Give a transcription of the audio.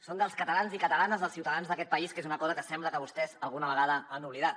són dels catalans i catalanes dels ciutadans d’aquest país que és una cosa que sembla que vostès alguna vegada han oblidat